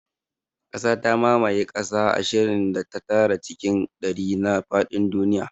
Ƙasa ta mamaye kaso ashirin da tara cikin ɗari na faɗin duniya